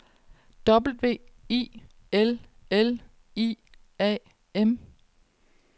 W I L L I A M